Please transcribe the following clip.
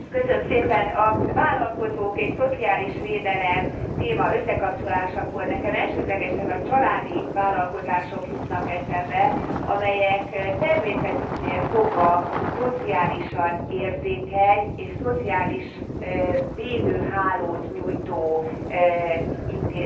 A vállalkozók és szociális védelem témájának összekapcsolásakor nekem elsődlegesen a családi vállalkozások jutnak eszembe, amelyek természetüknél fogva szociálisan érzékeny és szociális védőhálót nyújtó intézmények.